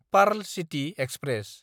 पार्ल city express